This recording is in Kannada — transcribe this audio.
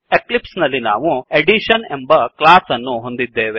ಎಕ್ಲಿಪ್ಸ್ ನಲ್ಲಿ ನಾವು ಅಡಿಷನ್ ಎಂಬ ಕ್ಲಾಸ್ ಅನ್ನು ಹೊಂದಿದ್ದೇವೆ